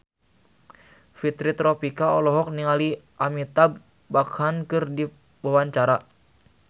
Fitri Tropika olohok ningali Amitabh Bachchan keur diwawancara